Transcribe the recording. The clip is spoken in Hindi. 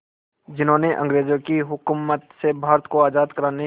जिन्होंने अंग्रेज़ों की हुकूमत से भारत को आज़ाद कराने